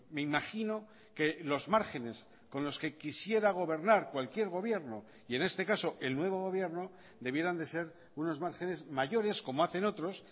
me imagino que los márgenes con los que quisiera gobernar cualquier gobierno y en este caso el nuevo gobierno debieran de ser unos márgenes mayores como hacen otros